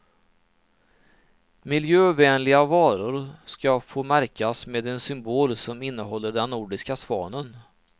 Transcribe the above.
Miljövänliga varor ska få märkas med en symbol som innehåller den nordiska svanen.